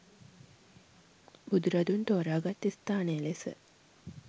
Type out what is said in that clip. බුදුරදුන් තෝරා ගත් ස්ථානය ලෙස